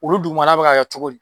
Olu dugumala bɛ ka kɛ cogo di?